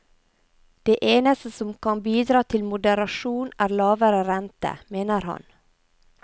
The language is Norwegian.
Det eneste som kan bidra til moderasjon er lavere rente, mener han.